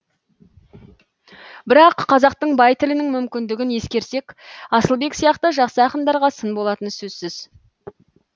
бірақ қазақтың бай тілінің мүмкіндігін ескерсек асылбек сияқты жақсы ақындарға сын болатыны сөзсіз